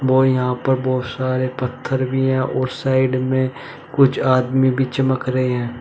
और यहां पर बहोत सारे पत्थर भी है और साइड में कुछ आदमी भी चमक रहे हैं।